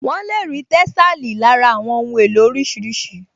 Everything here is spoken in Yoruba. Wọ́n lè rí tẹ́sàlí lára àwọn ohun èlò oríṣiríṣi